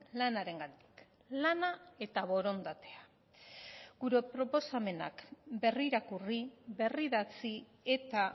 lanarengatik lana eta borondatea gure proposamenak berrirakurri berridatzi eta